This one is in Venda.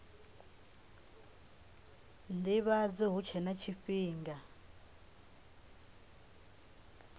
ndivhadzo hu tshe na tshifhinga